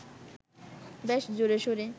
বেশ জোরেশোরে